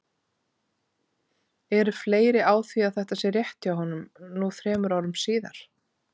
Eru fleiri á því að þetta sé rétt hjá honum nú þrem árum síðar?